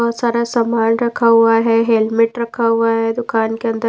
बहुत सारा सामान रखा हुआ हैहेलमेट रखा हुआ है दुकान के अंदर।